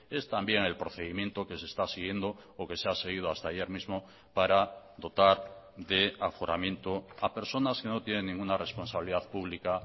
es también el procedimiento que se está siguiendo o que se ha seguido hasta ayer mismo para dotar de aforamiento a personas que no tienen ninguna responsabilidad pública